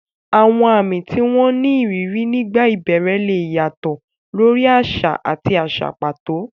Àwọn àmì tí wọ́n ní ìrírí nígbà ìbẹ̀rẹ̀ lè yàtọ̀ lórí àṣà àti àṣà pàtó.